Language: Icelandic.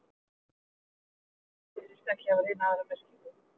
Orðið strjúpi virðist ekki hafa neina aðra merkingu.